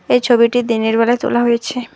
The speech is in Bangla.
এই ছবিটি দিনের বেলা তোলা হয়েছে।